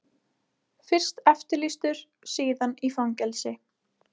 Fyrst eftirlýstur, síðan í fangelsi.